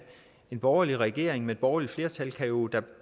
den borgerlige regering med et borgerligt flertal jo